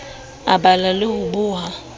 a bala le ho boha